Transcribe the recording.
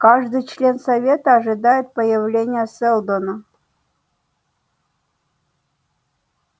каждый член совета ожидает появления сэлдона